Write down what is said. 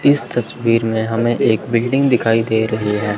इस तस्वीर में हमें एक बिल्डिंग दिखाई दे रही है।